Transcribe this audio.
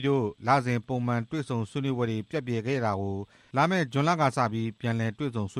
တို့ လစဉ် ပုံမှန်အစည်းအဝေးတွေကို လာမယ့် ဇွန်လကစပြီး ပုံမှန်ပြန်လည်တွေ့ဆုံဆွေ